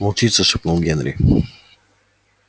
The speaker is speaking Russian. волчица шепнул генри